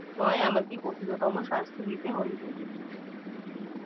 নোই আমাকে কঠিনতম শাস্তি দিতে হইবে